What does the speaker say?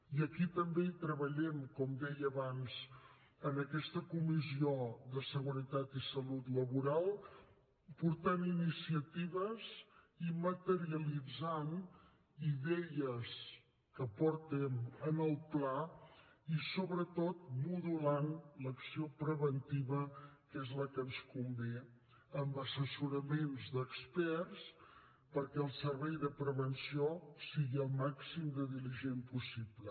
i aquí també hi treballem com deia abans en aquesta comissió de seguretat i salut laboral portant iniciatives i materialitzant idees que portem en el pla i sobretot modulant l’acció preventiva que és la que ens convé amb assessoraments d’experts perquè el servei de prevenció sigui el màxim de diligent possible